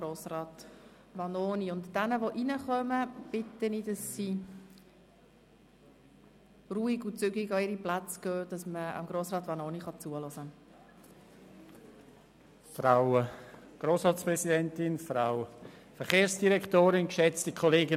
Ich bitte diejenigen, die jetzt hereinkommen, ruhig und zügig an ihre Plätze zu gehen, damit man Grossrat Vanoni zuhören kann.